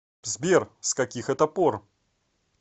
сбер с каких это пор